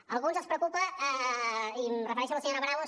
a alguns els preocupa i em refereixo a la senyora bravo